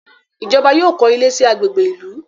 Ijọba yóò kọ ilé sí agbègbè ìlú